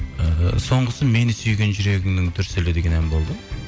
ыыы соңғысы мені сүйген жүрегіңнің дүрсілі деген ән болды